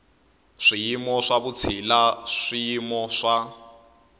swiyimo swa vutshila swiyimo swa